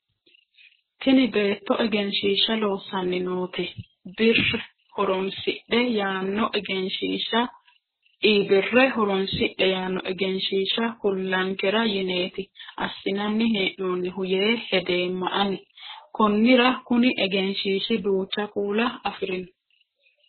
tini beetto egensishshiishsha loossanni noote e birr horoonsidhe yaanno egenshshishsha kullankera yineeti assinanni hee'noonnihu yee hedeemma ani konnira kuni egenshshiishi duucha kuula afirino